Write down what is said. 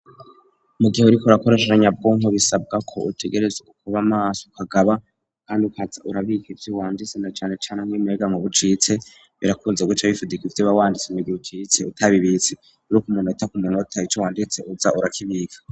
Mu gihe uriko urakoresha nyabwonko bisabwa ko utegerezwa kuba maso ukagaba kandi ukaza urabika ivyo wanditse na canecane nk'umuyagankuba iyo ucitse birakunze guca bifudika ivyo uba wanditse mu gihe ucitse utabibitse, umunota ku munota ico wanditse uza urakibika.